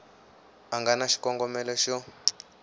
a nga na xikongomelo xo